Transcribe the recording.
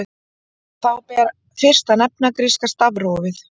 Þá ber fyrst að nefna gríska stafrófið.